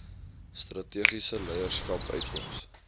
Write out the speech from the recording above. strategiese leierskap uitkoms